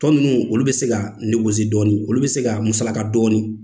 Tɔ ninnu olu bɛ se ka dɔɔnin, olu bɛ se ka musalaka dɔɔnin.